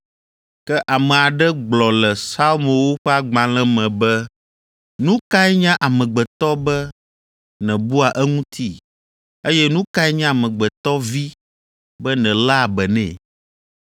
Ke ame aɖe gblɔ le Psalmowo ƒe agbalẽ me be, “Nu kae nye amegbetɔ be nèbua eŋuti, eye nu kae nye Amegbetɔ Vi be nèléa be nɛ?